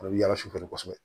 A bɛ yaasɔ kosɛbɛ